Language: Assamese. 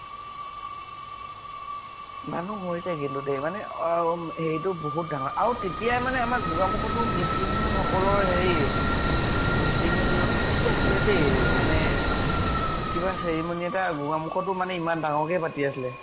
মানুহ হৈছে কিন্তু দেই মানে অম হেৰি টো বহত ডাঙৰ। আৰু তেতিয়াই মানে আমাৰ গোগামুখটো মিছিং সকলৰ হেৰি মিছিং নে এইটো কি আছিলে দে মানে কিবা ceremony এটা গোগামুখটো মানে ইমান ডাঙৰকে পাতি আছিলে